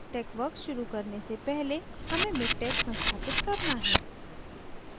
texworks शुरू करने से पहले हमें miktex संस्थापित करना है